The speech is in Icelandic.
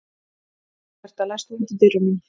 Róberta, læstu útidyrunum.